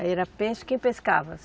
Aí era peixe quem pescava?